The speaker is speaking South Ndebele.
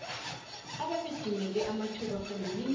ababedimeke amathuba phambilini